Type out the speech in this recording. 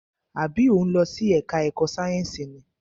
Àbí o ń lọ sí ẹka ẹ̀kọ́ sáyẹnsì ni?